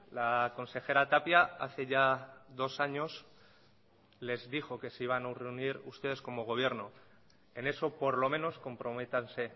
la consejera tapia hace ya dos años les dijo que se iban a reunir ustedes como gobierno en eso por lo menos comprométanse